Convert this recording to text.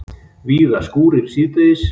Víða skúrir síðdegis